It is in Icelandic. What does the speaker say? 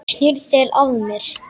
Snýrð þér að mér.